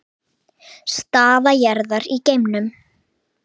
Staða jarðar í geimnum